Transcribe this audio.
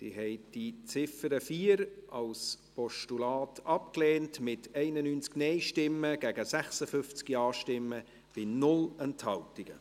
Sie haben die Ziffer 4 als Postulat abgelehnt, mit 91 Nein- gegen 56 Ja-Stimmen bei 0 Enthaltungen.